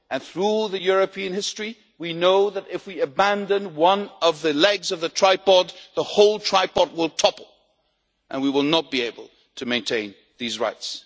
Through European history, we know that if we abandon one of the legs of the tripod, the whole tripod will topple and we will not be able to maintain these rights.